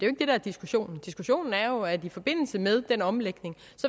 er diskussionen diskussionen er jo at man i forbindelse med den omlægning